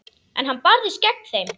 En hann barðist gegn þeim.